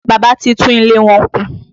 Bàbá ti tún ilé wọn kùn